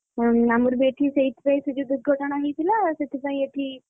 ଅଁ ଆମର ବି ଏଠି ସେଇଥିପାଇଁ ସେ ଯୋଉ ଦୁର୍ଘଟଣା ହେଇଥିଲା ସେଥିପାଇଁ ଏଠି,